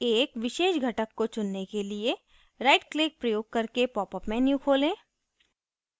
एक विशेष घटक को चुनने के लिए right click प्रयोग करके popअप menu खोलें